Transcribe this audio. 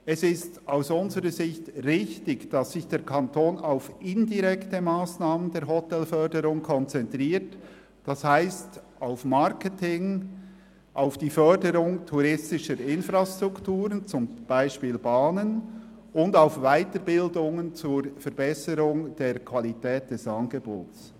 Es ist aus unserer Sicht richtig, dass sich der Kanton auf indirekte Massnahmen der Hotelförderung konzentriert, das heisst auf Marketing, die Förderung touristischer Infrastrukturen wie zum Beispiel Bahnen und auf Weiterbildungen zur Verbesserung der Qualität des Angebots.